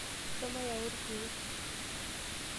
Shomo yau irkeek.